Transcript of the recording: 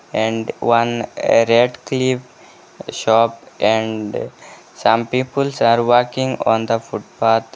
And one redcliffe shop and some peoples are walrking on the footpath.